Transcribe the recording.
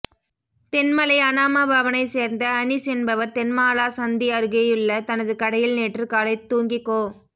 தென்மலை அனாமா பவனை ேசர்ந்த அனிஸ் என்பவர் தென்மாலா சந்தி அருகேயுள்ள தனது கடையில் நேற்று காலை தூங்கிக்கொ